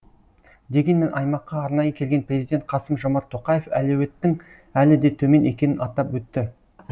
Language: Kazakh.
дегенмен аймаққа арнайы келген президент қасым жомарт тоқаев әлеуеттің әлі де төмен екенін атап өтті